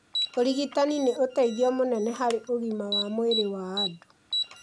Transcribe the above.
Ũrigitani nĩ ũteithio mũnene harĩ ũgima wa mwĩrĩ wa andũ.